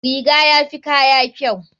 Riga yafi kaya kyau.